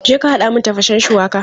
Je ka haɗa min tafashen shuwaka!